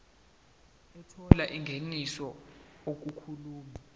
ethola ingeniso okumele